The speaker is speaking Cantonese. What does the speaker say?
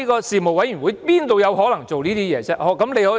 事務委員會怎麼可能這樣做呢？